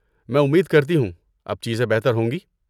میں امید کرتی ہوں اب چیزیں بہتر ہوں گی؟